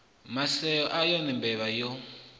maseo a yone mbevha yo